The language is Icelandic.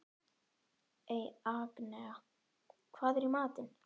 Agnea, hvað er í matinn?